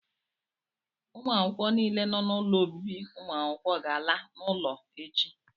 ụmụ akwụkwọ niile nọ n'ụlọ obibi ụmụ akwụkwọ ga-ala n'ụlọ echi